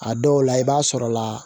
A dɔw la i b'a sɔrɔ la